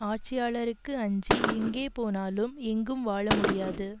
ஆட்சியாளருக்கு அஞ்சி எங்கே போனாலும் எங்கும் வாழ முடியாது